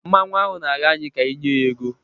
Mmanwu ahụ na-arịọ anyị ka anyị nye ya ego.